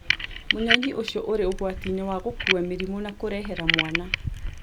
Mũnyonyĩ ũcio ũrĩ ũgwati inĩ wa gũkua mĩrimũ na kũrehera mwana